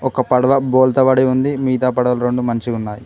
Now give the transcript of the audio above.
ఒక పడవ బోల్తా పడి ఉంది మిగతా పడవలు రెండు మంచిగున్నాయి.